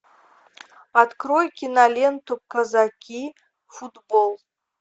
открой киноленту казаки футбол